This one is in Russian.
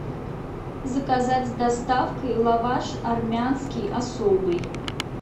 заказать с доставкой лаваш армянский особый